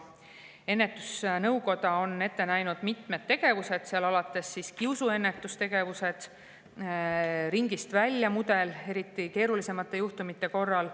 Ennetusnõukoda on ette näinud mitmeid tegevusi, näiteks kiusuennetustegevus ja "Ringist välja" mudel eriti keeruliste juhtumite korral.